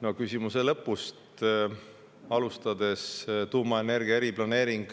No küsimuse lõpust alustades, tuumaenergia eriplaneering